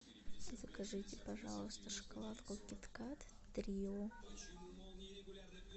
закажите пожалуйста шоколадку кит кат трио